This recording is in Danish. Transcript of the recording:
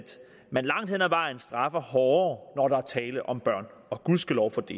man langt hen ad vejen straffer hårdere når der er tale om børn og gudskelov for det